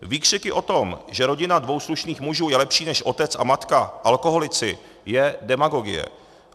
Výkřiky o tom, že rodina dvou slušných mužů je lepší než otec a matka alkoholici, je demagogie.